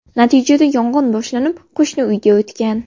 Natijada yong‘in boshlanib, qo‘shni uyga o‘tgan.